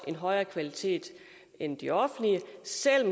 en højere kvalitet end de offentlige selv